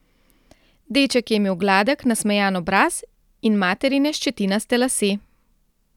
Deček je imel gladek nasmejan obraz in materine ščetinaste lase.